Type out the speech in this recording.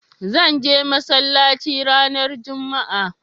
Zan je masallaci ranar jumma'a